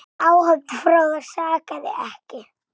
Áhöfn Fróða sakaði ekki.